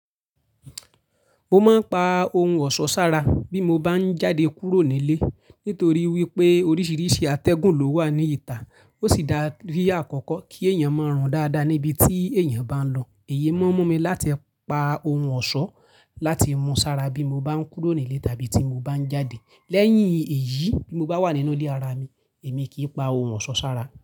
Mo máa ń pa ohun ọ̀ṣọ́ sára bí mo bá ń jáde kúrò nílé nítorí wípé oríṣiríṣi atẹ́gùn ló wà ní ìta. Ó sì dá rí àkọ́kọ́ kí èèyàn máa rùn dáadáa níbi tí èèyàn bá ń lọ. Èyí mó n mú mi láti pa ohun ọ̀ṣọ́ láti mú sára bí mo bá ń kúrò nílé tàbí tí mo bá ń jáde. Lẹ́yìn èyí, bí mo bá wà nínú ilé ara mi, èmi kì í pa ohun ọ̀ṣọ́ sára.